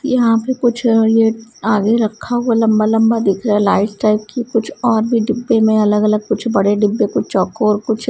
यहाँ पे कुछ अ ये आगे रखा हुआ लंबा लंबा दिख रहा है लाइट टाइप की कुछ और भी डिब्बे में अलग अलग कुछ बड़े डिब्बे कुछ चौकोर कुछ --